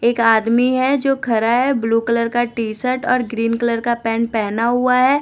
एक आदमी है जो खड़ा है ब्लू कलर का टी शर्ट और ग्रीन कलर का पैंट पहना हुआ है।